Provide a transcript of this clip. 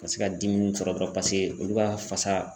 Ka se ka dimi sɔrɔ dɔrɔn paseke olu ka fasa